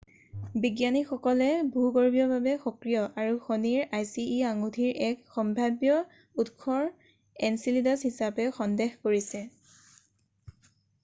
বিজ্ঞানীসকলে ভূৰ্গভীয়ভাৱে সক্ৰিয় আৰু শনিৰ আইচি e আঙুঠিৰ এক সম্ভাব্য উৎসৰ এনচিলেডাছ হিচাপে সন্দেহ কৰিছে৷